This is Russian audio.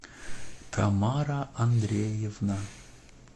тамара андреевна